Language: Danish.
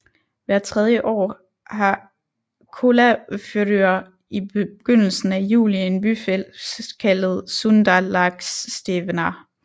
Hvert tredje år har Kollafjørður i begyndelsen af juli en byfest kaldet Sundalagsstevna